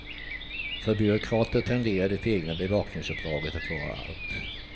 För byråkrater tenderar det egna bevakningsuppdraget att vara allt.